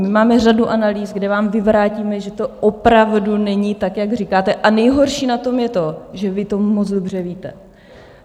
My máme řadu analýz, kde vám vyvrátíme, že to opravdu není tak, jak říkáte, a nejhorší na tom je to, že vy to moc dobře víte.